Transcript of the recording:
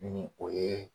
Ni o ye